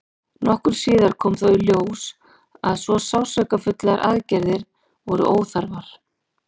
nokkru síðar kom þó í ljós að svo sársaukafullar aðgerðir voru óþarfar